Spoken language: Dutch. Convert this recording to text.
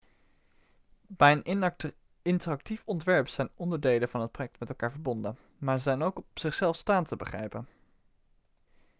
bij een interactief ontwerp zijn onderdelen van het project met elkaar verbonden maar ze zijn ook op zichzelf staand te begrijpen